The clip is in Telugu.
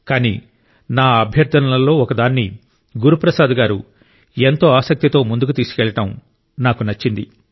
కానీ నా అభ్యర్ధనలలో ఒకదాన్ని గురు ప్రసాద్ గారు ఎంతో ఆసక్తితో ముందుకు తీసుకెళ్లడం నాకు నచ్చింది